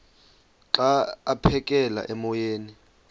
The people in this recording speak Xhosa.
xa aphekela emoyeni